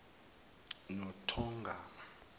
nothogarma